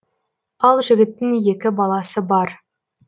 ал жігіттің екі баласы бар